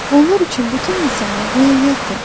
Onlar üçün bütün insanlar rəiyyətdir.